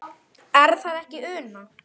Er það ekki Una?